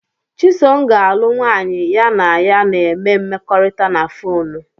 Chisom ga-alụ nwanyị ya na ya na-eme mmekọrịta na fonu